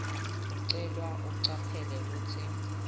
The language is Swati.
ucelwa ucaphele kutsi